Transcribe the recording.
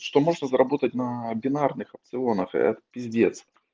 что можно заработать на бинарных опционах это пиздец